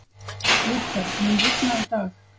Lúther, mun rigna í dag?